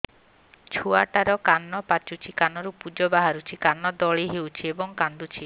ଛୁଆ ଟା ର କାନ ପାଚୁଛି କାନରୁ ପୂଜ ବାହାରୁଛି କାନ ଦଳି ହେଉଛି ଏବଂ କାନ୍ଦୁଚି